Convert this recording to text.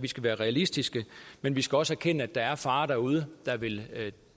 vi skal være realistiske men vi skal også erkende at der er farer derude der vil